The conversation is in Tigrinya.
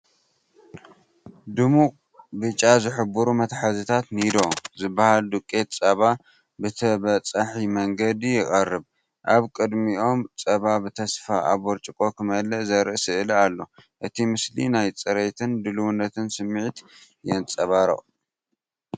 ድሙቕ ብጫ ዝሕብሩ መትሓዚታት “ኒዶ” ዝበሃል ዱቄት ጸባ ብተበጻሒ መንገዲ ይቐርቡ። ኣብ ቅድሚኦም ጸባ ብተስፋ ኣብ ብርጭቆ ክምላእ ዘርኢ ስእሊ ኣሎ። እቲ ምስሊ ናይ ጽሬትን ድልውነትን ስምዒት የንጸባርቕ።